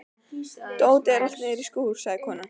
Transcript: Dótið er allt niðri í skúr, sagði konan.